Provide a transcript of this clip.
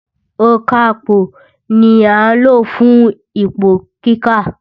Ònkapò ni à ń lò fún ipò kíkà.